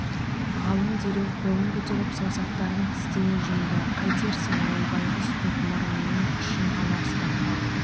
ғалым дереу қолын көтеріп саусақтарын тістене жұмды қайтерсің ол байғұс тек мұрнының ұшын ғана ұстап қалды